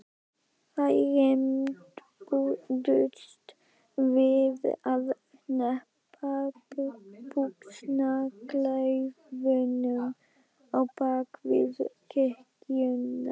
Þeir rembdust við að hneppa buxnaklaufunum á bak við kirkjuna.